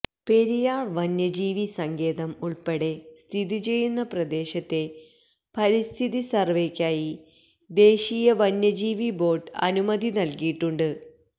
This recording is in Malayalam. പെരിയാര് വന്യജീവിസങ്കേതം ഉള്പ്പെടെ സ്ഥിതിചെയ്യുന്ന പ്രദേശത്തെ പരിസ്ഥിതി സര്വേക്കായി ദേശീയ വന്യജീവി ബോര്ഡ് അനുമതി നല്കിയിട്ടുണ്ട്